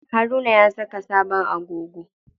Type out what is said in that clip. Haruna ya saka sabon agogo.